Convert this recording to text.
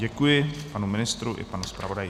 Děkuji panu ministru i panu zpravodaji.